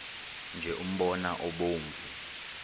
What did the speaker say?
nje umbona obomvu